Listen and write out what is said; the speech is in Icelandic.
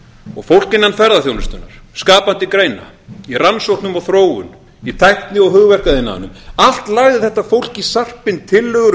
og fólk innan ferðaþjónustunnar skapandi greina í rannsóknum og þróun í tækni og hugverkaiðnaðinum allt lagði þetta fólk í sarpinn tillögur